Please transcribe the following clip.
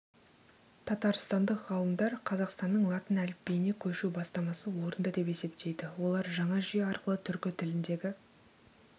татарстандық ғалымдар қазақстанның латын әліпбиіне көшу бастамасы орынды деп есептейді олар жаңа жүйе арқылы түркі тіліндегі